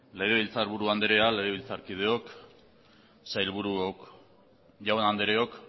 legebiltzar buru anderea legebiltzarkideok sailburuok jaun andreok